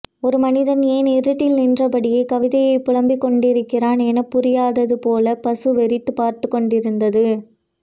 ஒரு மனிதன் ஏன் இருட்டில் நின்றபடியே கவிதையைப் புலம்பிக் கொண்டிருக்கிறான் எனப்புரியாதது போலப் பசு வெறித்துப் பார்த்துக் கொண்டிருந்தது